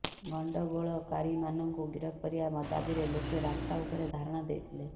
ଗଣ୍ତଗୋଳକାରୀମାନଙ୍କୁ ଗିରଫ କରିବା ଦାବିରେ ଲୋକେ ରାସ୍ତା ଉପରେ ଧାରଣା ଦେଇଥିଲେ